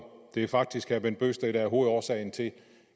det er faktisk herre bent bøgsted der er hovedårsagen til